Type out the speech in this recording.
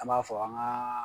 An b'a fɔ an gaa